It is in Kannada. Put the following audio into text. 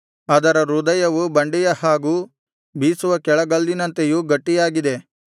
ಅದರ ಹೃದಯವು ಬಂಡೆಯ ಹಾಗೂ ಬೀಸುವ ಕೆಳಗಲ್ಲಿನಂತೆಯೂ ಗಟ್ಟಿಯಾಗಿದೆ